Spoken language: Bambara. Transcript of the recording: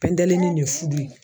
Pɛndelinin ye fu ye